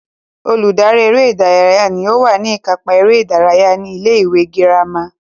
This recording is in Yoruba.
Olùdarí eré ìdárayá ní ó wà ní ìkápá eré ìdárayá ní ilé ìwé girama